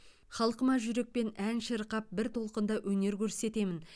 халқыма жүрекпен ән шырқап бір толқында өнер көрсетемін